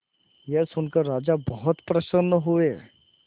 यह सुनकर राजा बहुत प्रसन्न हुए